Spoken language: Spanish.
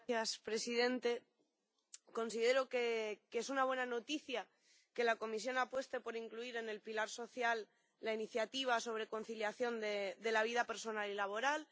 Señor presidente, considero que es una buena noticia que la Comisión apueste por incluir en el pilar social la iniciativa sobre conciliación de la vida personal y laboral.